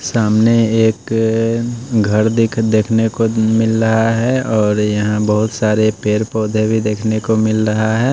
सामने एक घर देख देखने को मिल रहा है और यहां बहोत सारे पेड़ पौधे भी देखने को मिल रहा है।